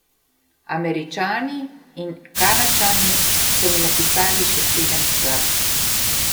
Američani in Kanadčani so mi napisali še sedem skladb.